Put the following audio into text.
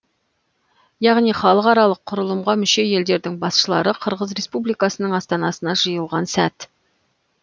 яғни халықаралық құрылымға мүше елдердің басшылары қырғыз республикасының астанасына жиылған сәт